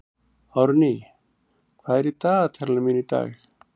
Árný, hvað er í dagatalinu mínu í dag?